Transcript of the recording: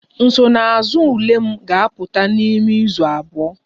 Nsonaazụ ule m ga-apụta n'ime izu abụọ